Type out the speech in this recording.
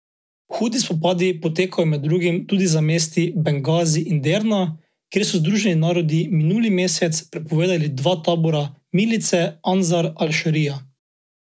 Hudi spopadi potekajo med drugim tudi za mesti Bengazi in Derna, kjer so Združeni narodi minuli mesec prepovedali dva tabora milice Ansar al Šarija.